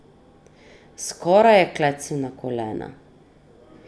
Skoraj je klecnil na kolena.